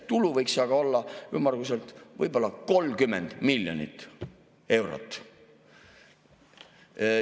Tulu võiks aga olla ümmarguselt võib-olla 30 miljonit eurot.